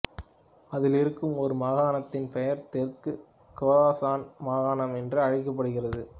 அதில் இருக்கும் ஒரு மாகாணத்தின் பெயர் தெற்கு கொராசான் மாகாணம் என்று அழைக்கப்படுகிறது